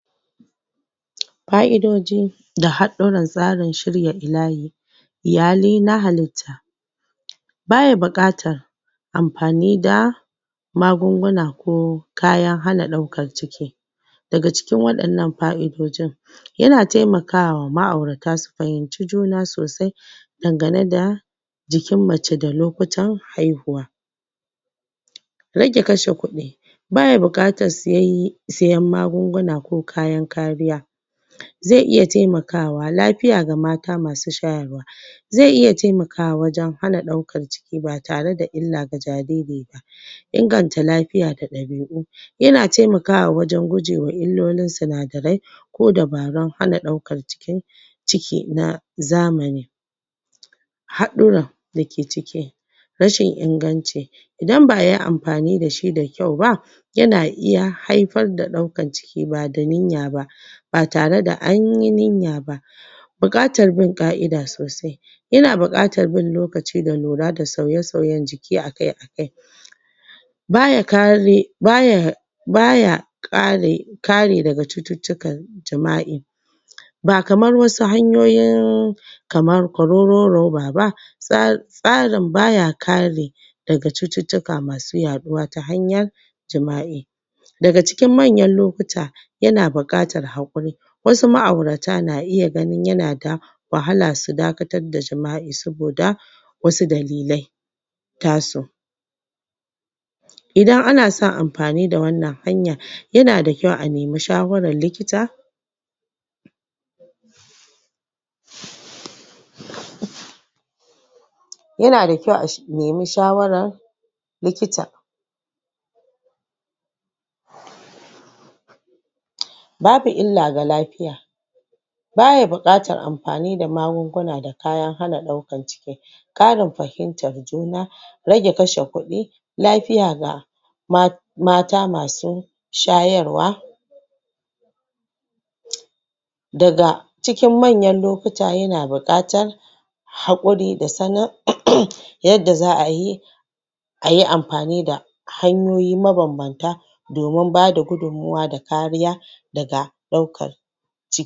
ƙa'idojin da haɗarin tsarin shirya iyali iyalai na halitta baya buƙatar amfani da magunguna ko kayan hana ɗaukar ciki daga cikin waɗannan fa'idojin yana taimakawa ma'aurata dasu fahimci juna sosai dangane da jikin mace da lokutan haihuwa rage kashe kuɗi baya buƙatar sai siyan magunguna ko kayan kariya zai iya taimakawa lafiya ga mata masu shayarwa zai iya taimakawa wajan hana ɗaukar ciki ba tare da illa ga jariri ba inganta lafiya da ɗabi'u yana taimakawa wajan gujewa illolin sinadarai ko dubarun hana ɗaukar cikin cikin na zamani haɗuran dake ciki rashin inganci idan ba'ayi amfani dashi da kyau ba yana iya haifar da ɗaukar ciki bada niya ba ba tare da anyi niya ba buƙatar bin ƙa'ida sosai yana buƙatar bin lokaci da lura da sauye-sauyen jiki akai akai baya kare baya baya ƙare, kare daga cututtukan jima'i ba kamar wasu hanyoyin um kamar kororon roba ba tsa tsarin baya kare daga cututtuka masu yaɗuwa ta hanyar jima'i daga cikin manyan lokuta yana buƙatar hakuri wasu ma'aurata na iya gani yana da wahala su dakatar da jima'i saboda wasu dalilai tasu idan ana son amfani da wannan hanya yana da kyau a nemi shawarar likita yana da kyau a shi a nemi shawarar likita babu illa ga lafiya baya buƙatar amfani da magunguna da kaya hana ɗaukar jiki ƙarin fahimtar juna rage kashe kuɗi lafiya ga ma mata masu shayarwa daga cikin manyan lokuta yana buƙatar hakuri da sanin um yadda za'a yi ayi amfani da hanyoyi mabanbanta domin bada gudun mawa da kariya daga ɗaukar ciki